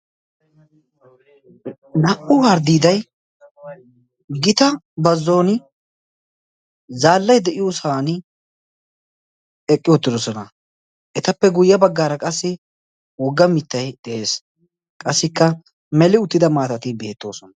Na'u harddiiday gita bazzuwaani zaallay de'iyoo sohaani eqqi uttidosona etappe guyee bagaara qassi wogga mittay de'ees qassikka meli uttida maatati beettoosona.